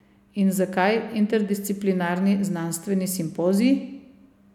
In zakaj interdisciplinarni znanstveni simpozij?